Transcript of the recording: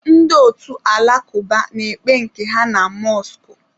Ndị otu alakuba na-ekpe nke ha na mọskụ.